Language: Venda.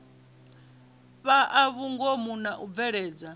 fhaa vhungomu na u bveledza